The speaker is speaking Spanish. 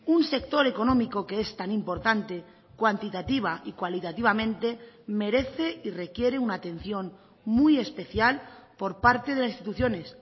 un sector económico que es tan importante cuantitativa y cualitativamente merece y requiere una atención muy especial por parte de las instituciones